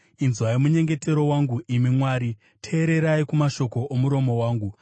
Inzwai munyengetero wangu, imi Mwari; teererai kumashoko omuromo wangu.